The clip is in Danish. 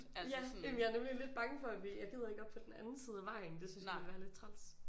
Ja jamen jeg er nemlig lidt bange for at vi jeg gider ikke om på den anden side af vejen det synes jeg ville være lidt træls